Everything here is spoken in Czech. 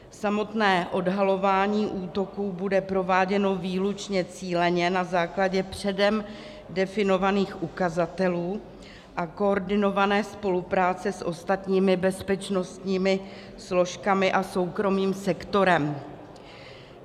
Samotné odhalování útoků bude prováděno výlučně cíleně, na základě předem definovaných ukazatelů a koordinované spolupráce s ostatními bezpečnostními složkami a soukromým sektorem.